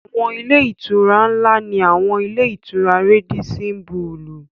Àwọn ilé-ìtura ńlá ni àwọn ilé-ìtura Rádísín bulùù.